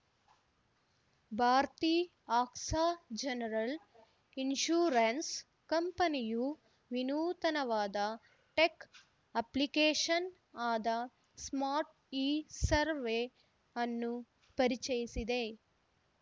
Bharti AXA general insurance ಕಂಪನಿಯು ವಿನೂತನವಾದ tech application ಆದ ಸ್ಮಾರ್ಟ್ ಇಸರ್ವೆ ಅನ್ನು ಪರಿಚಯಿಸಿದೆ